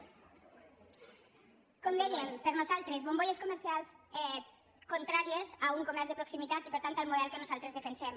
com dèiem per nosaltres bombolles comercials contràries a un comerç de proximitat i per tant al model que nosaltres defensem